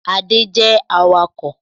Ade is a driver